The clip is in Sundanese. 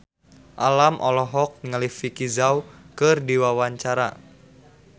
Alam olohok ningali Vicki Zao keur diwawancara